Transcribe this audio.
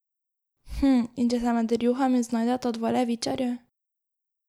Hm, in če se med rjuhami znajdeta dva levičarja?